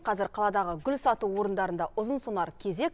қазір қаладағы гүл сату орындарында ұзынсонар кезек